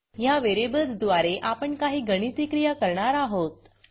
ह्या व्हेरिएबल्स द्वारे आपण काही गणिती क्रिया करणार आहोत